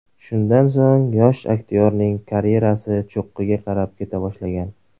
Shundan so‘ng, yosh aktyorning karyerasi cho‘qqiga qarab keta boshlagan.